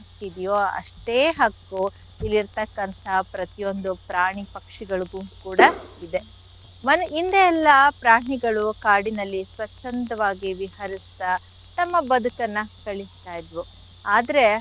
ಇದೀಯೋ ಅಷ್ಟೇ ಹಕ್ಕು ಇಲ್ಲಿರ್ತಕ್ಕಂಥ ಪ್ರತಿಯೊಂದು ಪ್ರಾಣಿ ಪಕ್ಷಿಗಳಿಗು ಕೂಡ caugh ಇದೆ. ಮ~ ಹಿಂದೆ ಎಲ್ಲಾ ಪ್ರಾಣಿಗಳು ಕಾಡಿನಲ್ಲಿ ಸ್ವಚ್ಛಂದವಾಗಿ ವಿಹರಿಸ್ತಾ ತಮ್ಮ ಬದುಕನ್ನ ಇದ್ವು ಆದ್ರೆ.